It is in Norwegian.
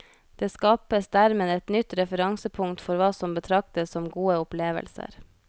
Det skapes dermed et nytt referansepunkt for hva som betraktes som gode opplevelser.